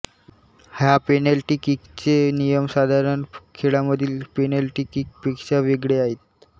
ह्या पेनल्टी किकचे नियम साधारण खेळामधील पेनल्टी किकपेक्षा वेगळे आहेत